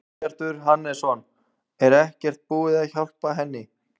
Guðbjartur Hannesson: Er ekkert búið að hjálpa henni?